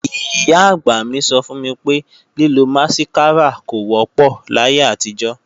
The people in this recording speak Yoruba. Ìyá-àgbà mí sọ fún mi pé, lílo másíkárà kò wọ́pọ̀ láyé àtijọ́